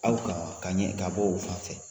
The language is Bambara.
Aw kaa ka ɲɛ ka bɔ o fan fɛ.